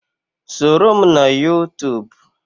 Soro m na Yuutuub.